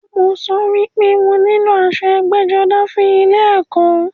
Mo sọ wípé mo nílò aṣọ ẹgbẹ́-jọdá fún ilẹ ẹ̀kọ́.